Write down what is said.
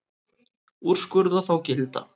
Úrskurða þá gilda.